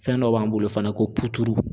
Fɛn dɔ b'an bolo fana ko